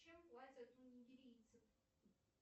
чем платят у нигерийцев